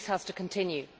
This has to continue.